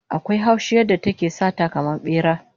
Akwai haushi yadda take sata kaman bera